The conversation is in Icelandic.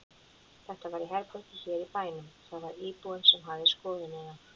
Þetta var í herbergi hér í bænum og það var íbúinn sem hafði skoðunina.